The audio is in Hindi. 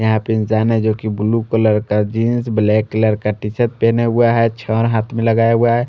यहाँ पे इंसान है जो की blue colour jeans black colour का टीशर्ट पहना हुआ है छा हाथ में लगाया हुआ है।